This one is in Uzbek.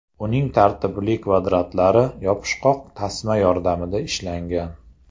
Uning tartibli kvadratlari yopishqoq tasma yordamida ishlangan.